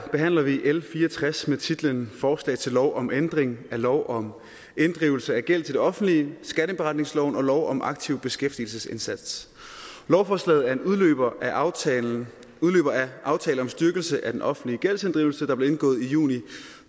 behandler vi l fire og tres med titlen forslag til lov om ændring af lov om inddrivelse af gæld til det offentlige skatteindberetningsloven og lov om en aktiv beskæftigelsesindsats lovforslaget er en udløber af aftale aftale om styrkelse af den offentlige gældsinddrivelse der blev indgået i juni